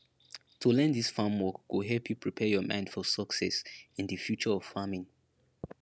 to learn dis farm work go help you prepare your mind for success in di future of farming